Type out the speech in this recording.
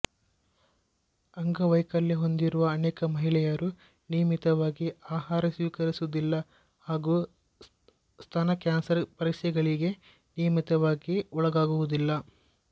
ಅಂಗವೈಕಲ್ಯ ಹೊಂದಿರುವ ಅನೇಕ ಮಹಿಳೆಯರು ನಿಯಮಿತವಾಗಿ ಆಹಾರ ಸ್ವೀಕರಿಸುವುದಿಲ್ಲ ಹಾಗೂ ಸ್ತನ ಕ್ಯಾನ್ಸರ್ ಪರೀಕ್ಸೆಗಳಿಗೆ ನಿಯಮಿತವಾಗಿ ಒಳಗಾಗುವುದಿಲ್ಲ